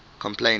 complaining